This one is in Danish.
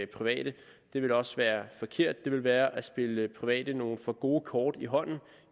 private det ville også være forkert det ville være at spille private nogle for gode kort i hånden